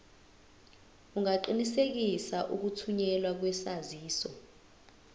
ungaqinisekisa ukuthunyelwa kwesaziso